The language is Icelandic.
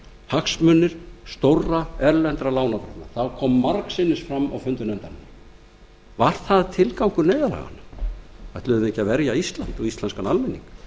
hagsmunir stórra erlendra lánardrottna það kom margsinnis fram á fundum nefndarinnar var það tilgangur neyðarlaganna ætluðum við ekki að verja ísland og íslenskan almenning